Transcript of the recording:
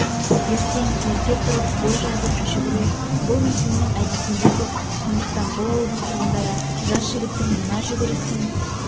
ертең ерте тұрып бой жазып жүгіру бұл мекеннің әдетінде жоқ сондықтан бұл ауылдың тұрғындары жас жігіттің мына жүгірісін